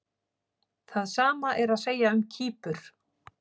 Það sama er að segja um Kýpur.